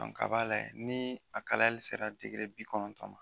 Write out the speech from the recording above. a ba lajɛ ni a kalayali sera bi kɔnɔntɔn ma